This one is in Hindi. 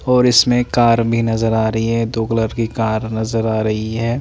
और इसमें एक कार भी नज़र आ रही है दो कलर की कार नज़र आ रही है।